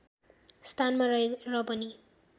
स्थानमा रहेर पनि